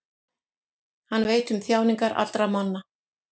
Hann veit um þjáningar allra manna.